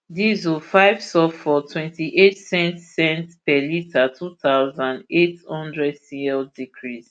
diesel five sulphur twenty eight cents cents per litre two thousand, eight hundred cl decrease